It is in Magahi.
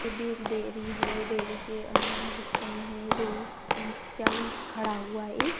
इधर भी एक डेरी है डेरी के अंदर मतलब कोई है जो चल खड़ा हुआ है ये --